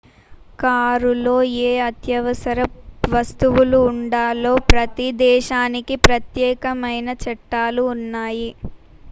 కారులో ఏ అత్యవసర వస్తువులు ఉండాలో ప్రతి దేశానికి ప్రత్యేకమైన చట్టాలు ఉన్నాయి